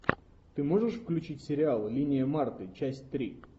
ты можешь включить сериал линия марты часть три